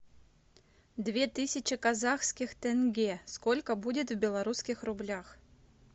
две тысячи казахских тенге сколько будет в белорусских рублях